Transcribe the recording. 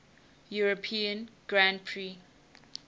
european grand prix